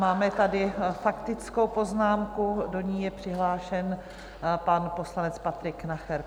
Máme tady faktickou poznámku, do ní je přihlášen pan poslanec Patrik Nacher.